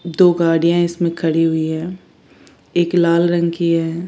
दो गाड़ियां इसमें खड़ी हुई है एक लाल रंग की है।